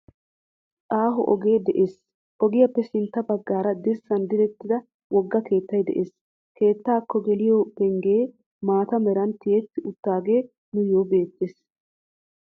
Aaho ogee de'ees. ogiyaappe sintta baggaara dirssaan direttida wogga keettay de'ees. keettaako geliyoo penggee maata meran tiyetti uttaagee nuuyoo beettees.